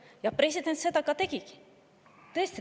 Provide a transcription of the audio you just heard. Ja seda president ka tegi.